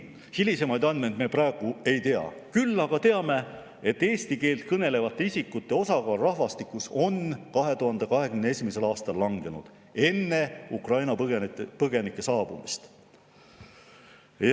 Hilisemaid andmeid me praegu ei tea, küll aga teame, et eesti keelt kõnelevate isikute osakaal rahvastikus 2021. aastal, enne Ukraina põgenike saabumist, langes.